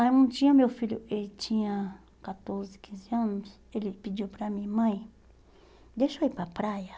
Aí um dia meu filho, ele tinha catorze, quinze anos, ele pediu para mim, mãe, deixa eu ir para a praia?